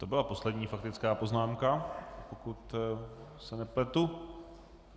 To byla poslední faktická poznámka, pokud se nepletu.